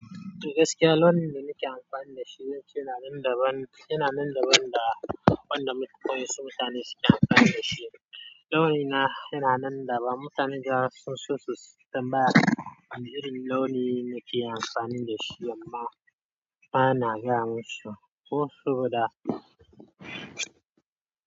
Gaskiya launin da nake amfani da shi zance yana nan daban, yana nan daban da wanda mutan wa'insu mutane suke amfani da shi. Launina yana nan daban. Mutane da yawa zasu, sunso tambaya ta wane irin launi nake amfani dashi amma bana gaya musu. Ko so guda.